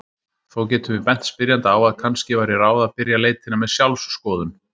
Þó getum við bent spyrjanda á að kannski væri ráð að byrja leitina með sjálfsskoðun.